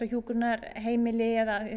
hjúkrunarheimili